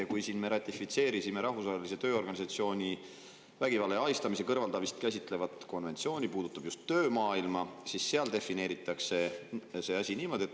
Me oleme siin ratifitseerinud Rahvusvahelise Tööorganisatsiooni vägivalla ja ahistamise kõrvaldamist käsitleva konventsiooni, mis puudutab just töömaailma, ja seal defineeritakse see asi niimoodi.